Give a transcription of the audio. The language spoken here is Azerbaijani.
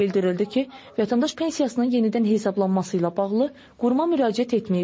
Bildirildi ki, vətəndaş pensiyasının yenidən hesablanması ilə bağlı quruma müraciət etməyib.